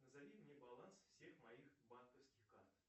назови мне баланс всех моих банковских карт